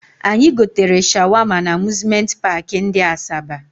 Anyị gotere shawama na Amuzmenti paakị ndị Asaba